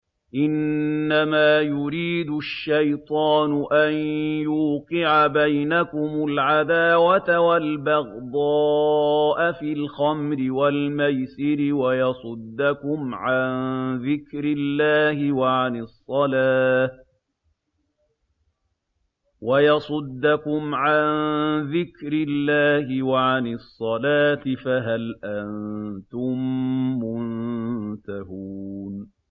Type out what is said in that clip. إِنَّمَا يُرِيدُ الشَّيْطَانُ أَن يُوقِعَ بَيْنَكُمُ الْعَدَاوَةَ وَالْبَغْضَاءَ فِي الْخَمْرِ وَالْمَيْسِرِ وَيَصُدَّكُمْ عَن ذِكْرِ اللَّهِ وَعَنِ الصَّلَاةِ ۖ فَهَلْ أَنتُم مُّنتَهُونَ